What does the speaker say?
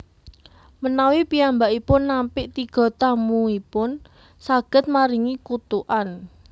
Menawi piyambakipun nampik tiga tamuipun saged maringi kutukan